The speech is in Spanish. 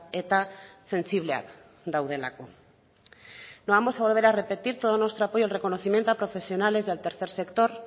eta sentsibleak daudelako no vamos a volver a repetir todo nuestro apoyo al reconocimiento a profesionales del tercer sector